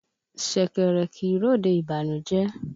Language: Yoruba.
Ṣẹ̀kẹ̀rẹ̀ kì í ròde ìbànújẹ́.